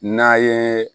N'a ye